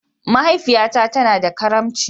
Mahaifiyata tana da karimci.